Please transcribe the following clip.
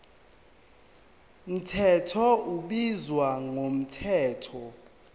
mthetho ubizwa ngomthetho